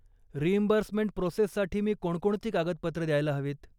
Reimbursement प्रोसेससाठी मी कोणकोणती कागदपत्रं द्यायला हवीत?